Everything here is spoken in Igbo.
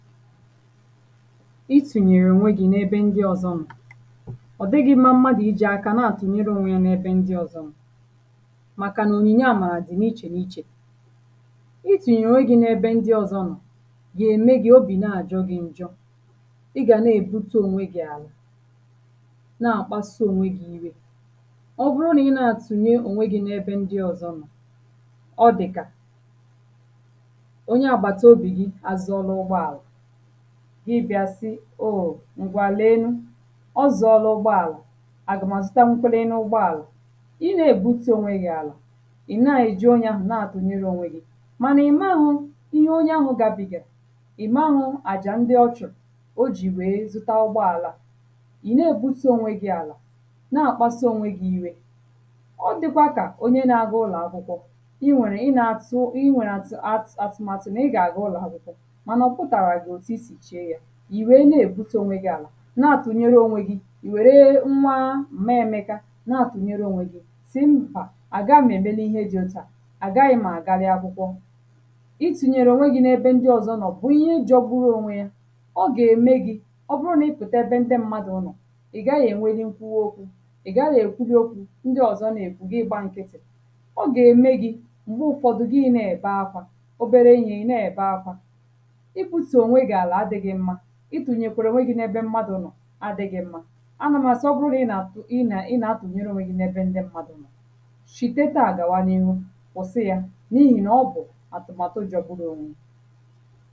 itùnyèrè ònwe gī na-ebe ndị ọzọ̄ nọ̀ ọ̀ dịgị̄ mma mmadụ̀ ijī aka n’àtụ̀nyere ònwe yā na-ebe ndị ọzọ̄ nọ̀, màkà ònyìnye àmàrà dị̀ ichè ichè itunyere onwe gi n’ebe ndị ọzọ̄ nọ̀ gà-ème gị̄ obì nà-àjọ gị̄ njọ ị gà n’ebutù ònwe gị̄ àlà na-àkpasụ ònwe gị̄ iwe. ọ bụrụ ị nà-àtụ̀nye ònwe gị̄ n’ebe ndị ọzọ̄ nọ̀ ọ dị̀kà onye àgbàtà obì gị azọ̀rọ̀ ụgbọ àlà gị bịā si ooo ngwa lee nụ ọ zọ̀lụ̀ ụgbọ àlà à gà mà zụta nkwerenu ụgbọ àlà ị n’èbutù ònwe gị̄ àlà ị̀ na èji onye ā nà-àtụnyere ònwe gị̄ mànà ị̀maghụ̄ ihe onye ahụ̄ ga bìgè ị̀maghụ̄ àjà ndị ọchụ̀ o jì we zụta ụgbọ àlà a ị̀ n’ebutù ònwe gị̄ àlà na àkpasụ ònwe gị̄ iwe ọ dịkwa kà onye na ga ụlọ̀ akwụkwọ ị nwèrè ị n’àtụ ị nwèrè àtụ̀ àtụ̀màtụ̀ n’ị gà-àga ụlọ̀ akwụkwọ mànà ọ̀ pụtàràzị̀ òtù isì chee yā ị̀ we n’ebūtū ònwe gị̄ àlà na-atụ̀nyere ònwe gị̄ nwère nwa m̀meèmeka na-atụ̀nyere ònwe gị̄ si mbà àgaghị ème ihe dị òtù a à gaghị̄ m̄ àga akwụkwọ. itùnyèrè ònwe gī n’ebe ndị ọzọ̄ nọ̀ bụ ihe jọgbụrụ ònwe yā ọ gà-ème gị̄ ọ bụ n’ị pụ̀ta ebe ndị mmadụ̀ nọ̀ ị gaghị enwe nkuwo okwū ị̀ gaghị̄ èkwu dị okwū ndị ọzọ̄ n’ekwū gị gbā nkitì ọ gà-ème gị̄ m̀gbè ụfọ̄dụ gị nà-èbe akwā obere ihē ị̀ n’èbe akwā ị butù ònwe gị̄ àlà adị̄gị mmā itùnyèrèkwè ònwe gị̄ n’ebe mmadụ̀ nọ̀ adị̄gị mmā a nà mà sọgbụ gị̄ ị na ị na ị na-atụ̀nyere ònwe gị̄ n’ebe mmadụ̀ nọ̀ shìte taà gàwa n’iru kwùsi yā n’ihì ọ bụ̀ atụmàtụ jọọ bụrụ ònwe yā.